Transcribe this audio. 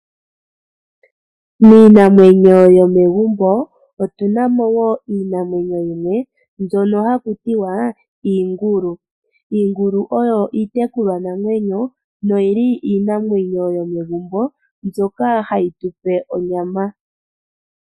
Miinamwenyo yomegumbo otuna mo wo iinamwenyo yimwe mbyono haku tiwa iingulu. Iingulu oyo iitekulwanamwenyo no yi li iinamwenyo yomegumbo mbyoka hayi tu pe onyama.